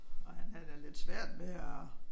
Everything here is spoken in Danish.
Og han havde da lidt svært ved at